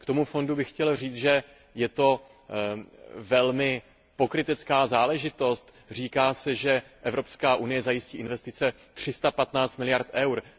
K tomu fondu bych chtěl říct, že je to velmi pokrytecká záležitost, říká se, že Evropská unie zajistí investice 315 miliard eur.